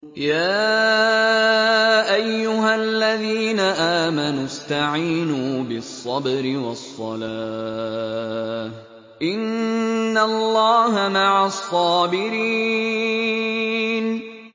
يَا أَيُّهَا الَّذِينَ آمَنُوا اسْتَعِينُوا بِالصَّبْرِ وَالصَّلَاةِ ۚ إِنَّ اللَّهَ مَعَ الصَّابِرِينَ